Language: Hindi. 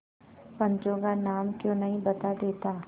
पंचों का नाम क्यों नहीं बता देता